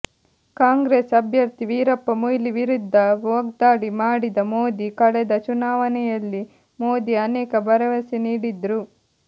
ಕಾಂಗ್ರೆಸ್ ಅಭ್ಯರ್ಥಿ ವೀರಪ್ಪ ಮೊಯ್ಲಿ ವಿರುದ್ಧ ವಾಗ್ದಾಳಿ ಮಾಡಿದ ಮೋದಿ ಕಳೆದ ಚುನಾವಣೆಯಲ್ಲಿ ಮೋದಿ ಅನೇಕ ಭರವಸೆ ನೀಡಿದ್ರು